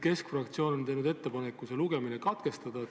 Keskfraktsioon on teinud ettepaneku lugemine katkestada.